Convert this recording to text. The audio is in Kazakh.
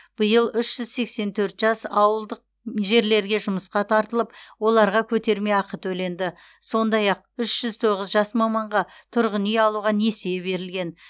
биыл үш жүз сексен төрт жас ауылдық жерлерге жұмысқа тартылып оларға көтерме ақы төленді сондай ақ үш жүз тоғыз жас маманға тұрғын үй алуға несие берілген